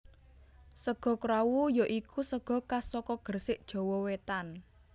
Sega krawu ya iku sega khas saka Gresik Jawa Wetan